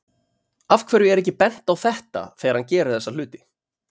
Af hverju er ekki bent á þetta þegar hann gerir þessa hluti?